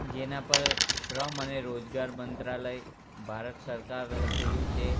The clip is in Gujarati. જેના પર શ્રમ અને રોજગાર મંત્રાલય ભારત સરકાર લખેલું છે.